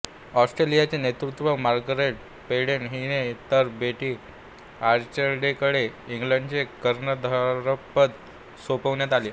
ऑस्ट्रेलियाचे नेतृत्व Margaret Peden हिने तर बेटी आर्चडेलकडे इंग्लंडचे कर्णधारपद सोपविण्यात आले